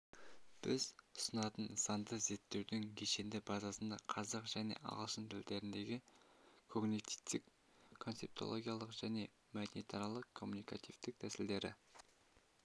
біз ұсынатын нысанды зерттеудің кешенді базасында қазақ және ағылшын тілдеріндегі когнитивтік-концептологиялық және мәдениетаралық коммуникативтік тәсілдегі